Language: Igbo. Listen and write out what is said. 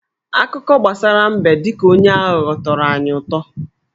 Akụkọ gbasara mbe dị ka onye aghụghọ tọrọ anyị utọ.